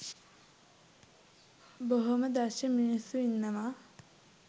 බොහෝම දක්ෂ මිනිස්සු ඉන්නවා.